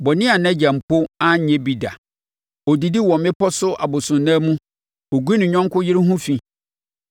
(bɔne a nʼagya mpo anyɛ bi da): “Ɔdidi wɔ mmepɔ so abosonnan mu. Ɔgu ne yɔnko yere ho fi.